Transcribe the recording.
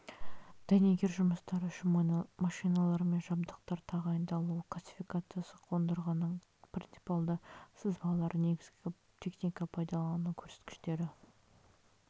дәнекер жұмыстары үшін машиналар мен жабдықтар тағайындалуы классификациясы қондырғының принципиалды сызбалары негізгі техника пайдалану көрсеткіштері